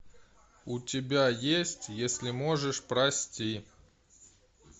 у тебя есть если можешь прости